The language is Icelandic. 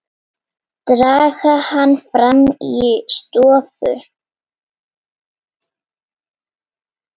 Draga hana fram í stofu.